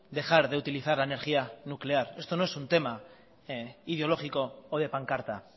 dejar de utilizar la energía nuclear esto no es un tema ideológico o de pancarta